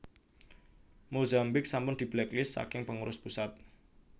Mozambik sampun diblacklist saking pengurus pusat